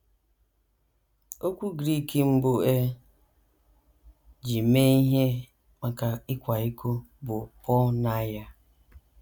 Okwu Grik mbụ e ji mee ihe maka ịkwa iko bụ por·neiʹa.